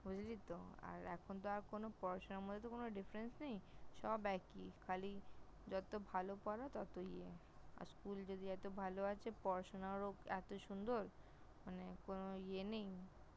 বুঝলি তো? আর এখন তো আর কোন পড়াশোনার মধ্যে কোন Difference নেই, সব একই । খালি যত ভালো পার তত ইয়ে, আর School যদি এত ভালো আছে পড়াশোনাও এত সুন্দর মানে কোণ ইয়ে নেই